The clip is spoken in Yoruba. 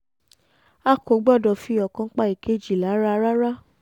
a kò gbọ́dọ̀ fi ọ̀kan pa ìkejì lára rárá